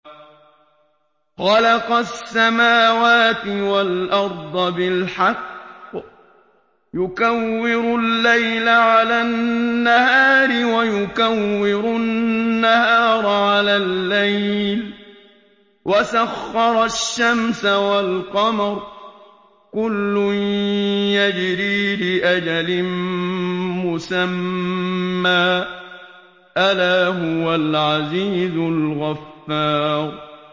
خَلَقَ السَّمَاوَاتِ وَالْأَرْضَ بِالْحَقِّ ۖ يُكَوِّرُ اللَّيْلَ عَلَى النَّهَارِ وَيُكَوِّرُ النَّهَارَ عَلَى اللَّيْلِ ۖ وَسَخَّرَ الشَّمْسَ وَالْقَمَرَ ۖ كُلٌّ يَجْرِي لِأَجَلٍ مُّسَمًّى ۗ أَلَا هُوَ الْعَزِيزُ الْغَفَّارُ